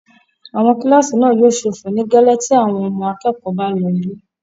Àwọn kílásì náà yóò ṣófo nígẹ́lẹ́ tí àwọn ọmọ akẹ́kọ̀ọ́ náà bá lọ ilé